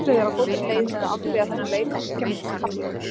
Alfreð er á góðri leið með að afgreiða þennan leik á þriggja mínútna kafla.